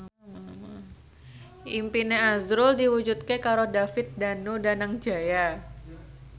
impine azrul diwujudke karo David Danu Danangjaya